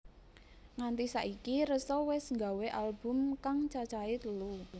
Nganti saiki Ressa wis nggawe album kang cacahe telu